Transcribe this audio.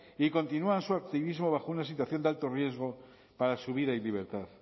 y continúan su activismo bajo una situación de alto riesgo para su vida y libertad